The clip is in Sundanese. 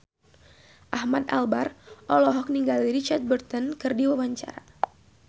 Ahmad Albar olohok ningali Richard Burton keur diwawancara